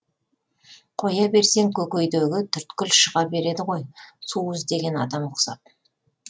қоя берсең көкейдегі түйткіл шыға береді ғой су іздеген адам ұқсап